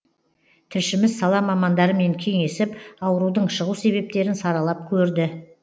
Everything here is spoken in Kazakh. тілшіміз сала мамандарымен кеңесіп аурудың шығу себептерін саралап көрді